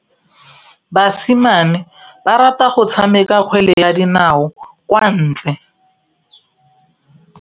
Basimane ba rata go tshameka kgwele ya dinaô kwa ntle.